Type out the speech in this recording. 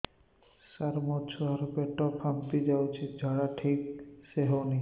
ସାର ମୋ ଛୁଆ ର ପେଟ ଫାମ୍ପି ଯାଉଛି ଝାଡା ଠିକ ସେ ହେଉନାହିଁ